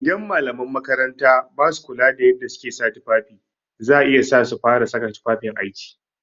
Idan malaman makaranta basu kula da yadda suke sa tufafi za iya sa su fara saka tufafin aiki.